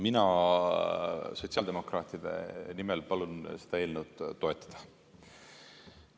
Mina sotsiaaldemokraatide nimel palun seda eelnõu toetada.